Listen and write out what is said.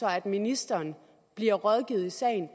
at ministeren bliver rådgivet i sagen